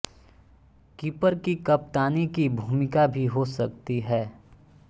keeper की कप्तानी की भूमिका भी हो सकती है